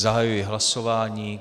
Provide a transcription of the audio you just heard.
Zahajuji hlasování.